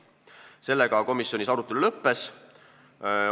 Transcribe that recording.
Sellega komisjonis arutelu lõppes.